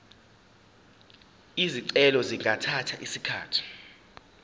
izicelo zingathatha isikhathi